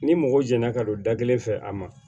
Ni mɔgɔ jɛnna ka don da kelen fɛ a ma